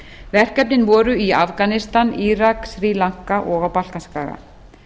verkefnin voru í afganistan írak sri lanka og á balkanskaga